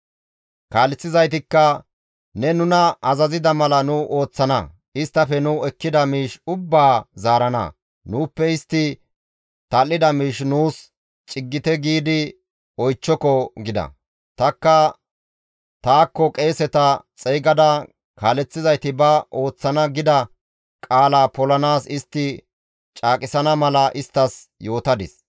Kaaleththizaytikka, «Ne nuna azazida mala nu ooththana; isttafe nu ekkida miish ubbaa zaarana; nuuppe istti tal7ida miish nuus ciggite giidi oychchoko» gida. Tanikka taakko qeeseta xeygada, kaaleththizayti ba ooththana gida qaala polanaas istti caaqisana mala isttas yootadis.